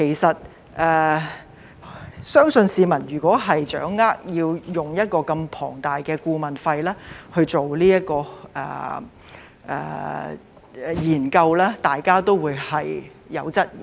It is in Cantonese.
動用一筆如此龐大的顧問費去做研究，相信市民會有所質疑。